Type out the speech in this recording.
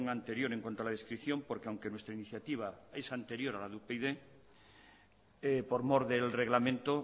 anterior en cuanto a la descripción porque aunque nuestra iniciativa es anterior a la de upyd por mor del reglamento